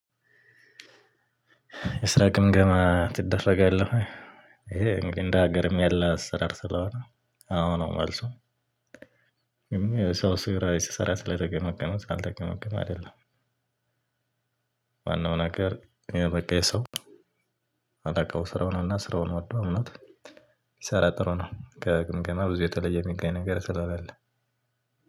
የስራ ግምገማ ትደረጋለህ? ወይ ይሄ እንደ ሀገርም ያለ አሰራር ስለሆነ አዎ ነው። መልሱ የሰው ስራ ስሰራ ስለተገመገመ ስላልተገመገመ አይደለም። ዋናውን ነገር በቃ የሰው አላውቀው ስራውን እና ስራውን ወዶ አምኖት ሲሰራ ጥሩ ነው። ከግምገማብዙ የተለየ የሚገኝ ነገር ስላለ።